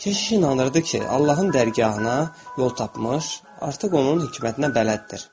Keşiş inanırdı ki, Allahın dərgahına yol tapmış, artıq onun hikmətinə bələddir.